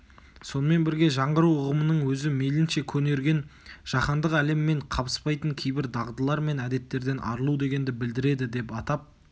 сонымен бірге жаңғыру ұғымының өзі мейлінше көнерген жаһандық әлеммен қабыспайтын кейбір дағдылар мен әдеттерден арылу дегенді білдіреді деп атап